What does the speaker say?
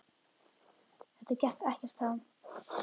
Þetta gekk ekkert þá.